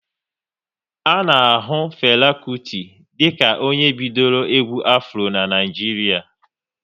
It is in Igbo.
A na ahu Fela Kuti dịka onye bidoro egwu Afro n'Naijiria